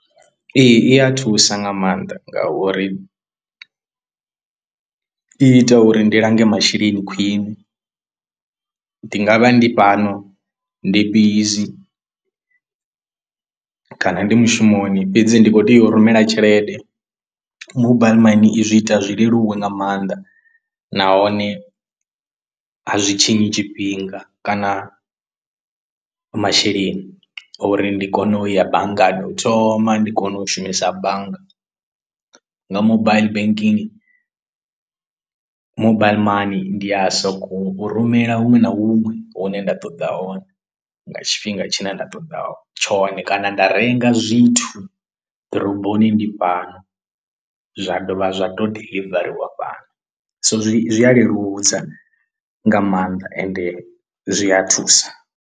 Ee i a thusa nga maanḓa ngauri i ita uri ndi lange masheleni khwiṋe, ndi ngavha ndi fhano ndi bizi kana ndi mushumoni fhedzi ndi khou tea u rumela tshelede mobile money i zwi ita zwi leluwe nga maanḓa nahone a zwi tshinyi tshifhinga kana masheleni uri ndi kone u ya banngani u thoma ndi kone u shumisa bannga, nga mobile banking mobile money ndi a so ko u rumela huṅwe na huṅwe hune nda ṱoḓa hone nga tshifhinga tshine nda ṱoḓa tshone, kana nda renga zwithu ḓoroboni ndi fhano zwa dovha zwa to diḽivariwa fhano, so zwi a leludza nga maanḓa ende zwi a thusa.